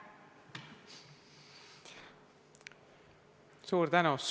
Suur tänu!